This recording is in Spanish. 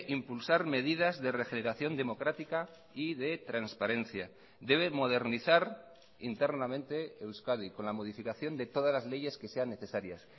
impulsar medidas de regeneración democrática y de transparencia debe modernizar internamente euskadi con la modificación de todas las leyes que sean necesarias